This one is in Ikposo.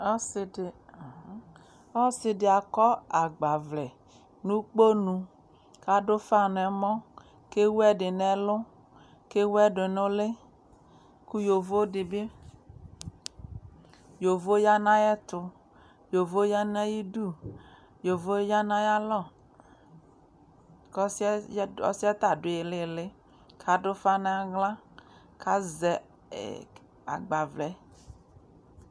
Asidi akɔ agbavlɛ nu ʊkponu kadu ʊfa nɛmɔ kewu ɛdi ŋɛlʊ kewu ɛdi nʊ ʊlɩ kʊ yovodibi yanu ayɛtkʊ yovodibɩ yanaayidu yovo ya nayalɔ ƙɔsiɛta du ilɩlɩ kadu ufa naɣla kazɛ agbavlɛ